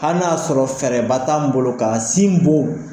Hali n'a y'a sɔrɔ fɛɛrɛba t'an bolo k'a sin bon